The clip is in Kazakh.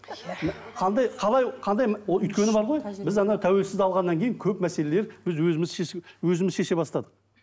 қандай қалай қандай өйткені бар ғой біз тәуелсіздік алғаннан кейін көп мәселелер біз өзіміз шеше өзіміз шеше бастадық